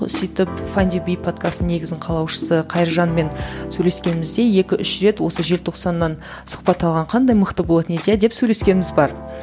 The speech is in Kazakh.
сөйтіп файндюби подкастының негізін қалаушысы қайыржанмен сөйлескенімізде екі үш рет осы желтоқсаннан сұхбат алған қандай мықты болатын еді иә деп сөйлескеніміз бар